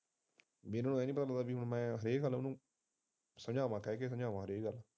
ਵੀ ਇਹਨਾਂ ਨੂੰ ਇਹ ਨੀ ਪਤਾ ਲੱਗਦਾ ਕਿ ਮੈਂ ਹਰੇਕ ਨੂੰ ਵੱਖ ਰਹਿ ਕੇ ਸਮਝਾ